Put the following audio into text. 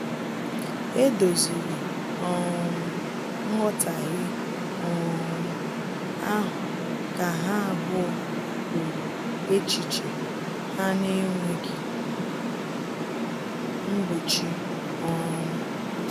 E doziri um nghọtahie um ahụ ka ha abụọ kwuru echiche ha na-enweghị mgbochi um